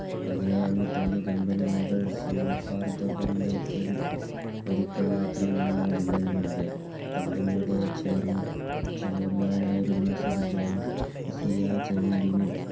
പതിനേഴാം നൂറ്റാണ്ടിൽ മുകൾ സൗഹാർദ്ദ ബന്ധത്തിൽ ഒരിക്കൽ മാത്രമാണ് വിള്ളൽ വീണത്. Company യുടെ Chair ChairMan നായ സർ ജോസിയാ ചർഡിനൽ